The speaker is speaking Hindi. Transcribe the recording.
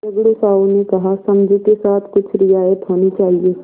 झगड़ू साहु ने कहासमझू के साथ कुछ रियायत होनी चाहिए